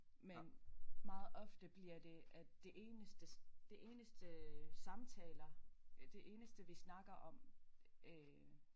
Men meget ofte bliver det at det eneste det eneste samtaler det eneste vi snakker om øh